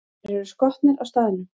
Þeir eru skotnir á staðnum!